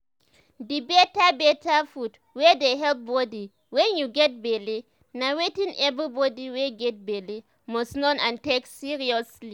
the better better food wey dey help body wen you get belle na wetin every body wey get belle must know and take seriously